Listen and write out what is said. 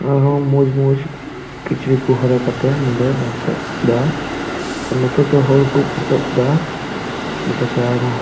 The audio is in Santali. ᱟᱨ ᱦᱚ ᱢᱚᱡ ᱢᱚᱡ ᱠᱤᱪᱨᱤᱡ ᱠᱩ ᱦᱚᱨᱚᱜ ᱠᱟᱛᱮ ᱱᱚᱰᱮ ᱫᱟᱱᱥ ᱫᱟ ᱟᱨ ᱜᱟᱛᱮ ᱠᱷᱚᱡ ᱦᱚᱲ ᱠᱩ ᱯᱷᱳᱴᱳ ᱫᱟ ᱱᱳᱛᱮ ᱠᱷᱚᱡ᱾